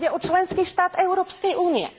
A ide o členský štát Európskej únie.